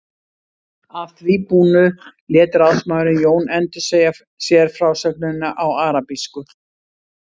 Að því búnu lét ráðsmaðurinn Jón endursegja sér frásögnina á arabísku.